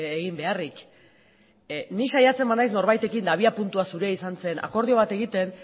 egin beharrik nik saiatzen banaiz norbaitekin abiapuntua zurea izan zen akordio bat egiten